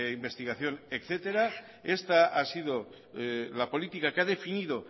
investigación etcétera esta ha sido la política que ha definido